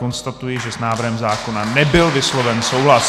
Konstatuji, že s návrhem zákona nebyl vysloven souhlas.